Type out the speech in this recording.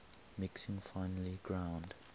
mixing finely ground